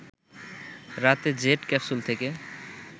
রাতে jet capsule থেকে